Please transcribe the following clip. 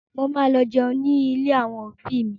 Mo ma lọ jẹun ní ilé àwọn òbí mi